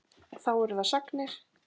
Þá eru það sagnir.